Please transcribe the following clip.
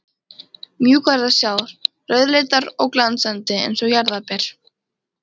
mjúkar að sjá, rauðleitar og glansandi, eins og jarðarberja